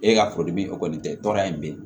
E ka foli bi o kɔni tɛ tɔɔrɔ ye bilen